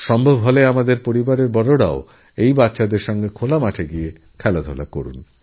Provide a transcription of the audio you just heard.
সম্ভব হলে পরিবারের বড়রাও তাদের সঙ্গে অংশ নিক